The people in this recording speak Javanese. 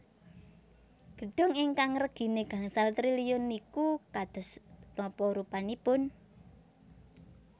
Gedung ingkang regine gangsal triliun niku kados napa rupanipun?